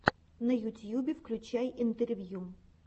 на ютьюбе включай интервью